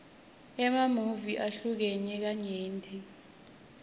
emamuvi ahlukene kanyenti